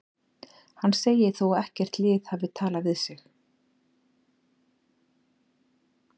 Hann segir þó að ekkert lið hafi talað við sig.